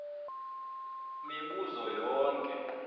mibu zo yonke